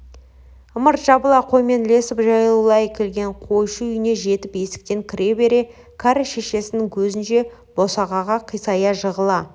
ымырт жабыла қоймен ілесіп жаяулай келген қойшы үйіне жетіп есіктен кіре бере кәрі шешесінің көзінше босағаға қисая жығыла